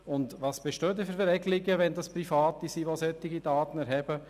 Doch welche Regelungen bestehen, wenn Private solche Daten erheben?